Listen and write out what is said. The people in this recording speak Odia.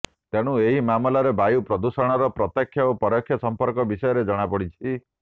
ତେଣୁ ଏହି ମାମଲାରେ ବାୟୁ ପ୍ରଦୂଷଣର ପ୍ରତ୍ୟେକ୍ଷ ଓ ପରୋକ୍ଷ ସମ୍ପର୍କ ବିଷୟରେ ଜଣାପଡ଼ିଛି